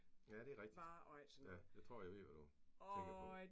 Ja det rigtigt. Jeg tror jeg ved hvad du tænker på